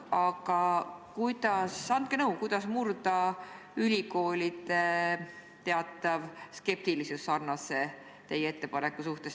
Aga andke nõu, kuidas murda ülikoolide teatav skeptilisus teie ettepaneku suhtes.